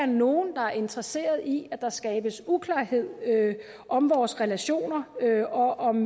nogen der er interesseret i at der skabes uklarhed om vores relationer og om